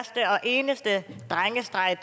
eneste drengestreg